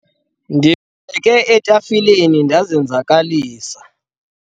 ndingqubeke etafileni ndazenzakalisa